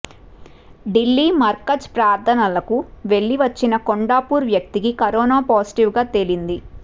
ఢిల్లీ మర్కజ్ ప్రార్థనలకు వెళ్లి వచ్చిన కొండాపూర్ వ్యక్తికి కరోనా పాజిటివ్గా తేలింది